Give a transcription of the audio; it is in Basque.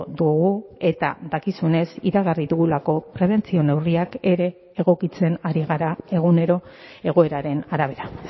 dugu eta dakizunez iragarri dugulako prebentzio neurriak ere egokitzen ari gara egunero egoeraren arabera